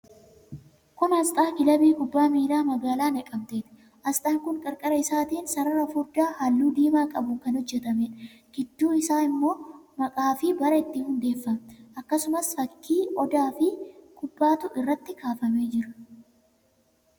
Kun aasxaa Kilabii Kubbaa Miilaa Magaalaa Naqamteeti. Aasxaan kun qarqara isaatiin sarara furdaa halluu diimaa qabuun kan hojjetameedha. Gidduu isaan immoo maqaafi bara itti hundeeffame, akkasumaf fakkii Odaafi kubbaatu irratti kaafamee jira.